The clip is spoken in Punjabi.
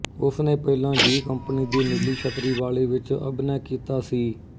ਉਸਨੇ ਪਹਿਲਾਂ ਜ਼ੀ ਕੰਪਨੀ ਦੀ ਨੀਲੀ ਛਤਰੀ ਵਾਲੇ ਵਿੱਚ ਅਭਿਨੈ ਕੀਤਾ ਸੀ